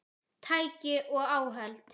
Tæki og áhöld